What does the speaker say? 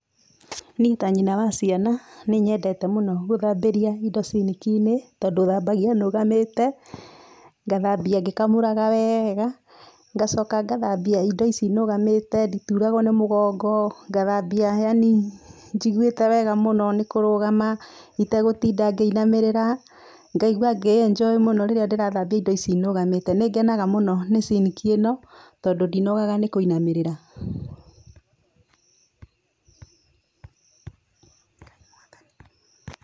Niĩ ta nyina wa ciana nĩ nyendete mũno gũthambĩria indo ciniki-inĩ tondũ thambagia ndũgamĩte, ngathambia ngĩkamũraga wega, ngacoka ngathambia indo ici nũgamĩte, ndituragwo nĩ mũgongo. Ngathambia yani njiguĩte wega muno nĩ kũrũgama itegũtinda ngĩinamĩrĩra, ngaigua ngĩeninjoĩ muno rĩrĩa ndĩrathambia indo ici nũgamĩte. Ni ngenaga mũno nĩ ciniki ĩno tondũ ndinogaga nĩ kũinamĩrĩra.